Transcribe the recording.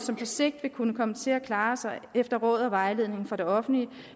som på sigt vil kunne komme til at klare sig efter råd og vejledning fra det offentlige